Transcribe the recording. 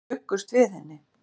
Þeir bjuggust við henni.